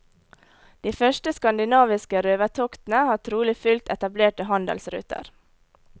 De første skandinaviske røvertoktene har trolig fulgt etablerte handelsruter.